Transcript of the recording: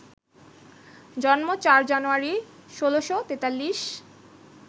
জন্ম ৪ জানুয়ারি, ১৬৪৩